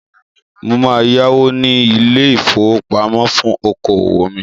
Mo máa yáwó ní ilé-ìfowópamọ́ fún okòwò mi.